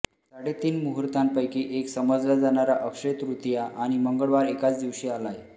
साडे तीन मुहूर्तांपैकी एक समजला जाणारा अक्षय्य तृतीया आणि मंगळवार एकाच दिवशी आलाय